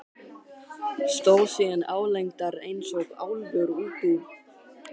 Stóð síðan álengdar eins og álfur út úr hól.